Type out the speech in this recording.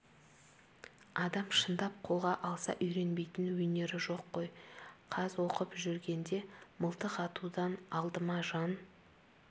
адам шындап қолға алса үйренбейтін өнер жоқ қой каз оқып жүргенде мылтық атудан алдыма жан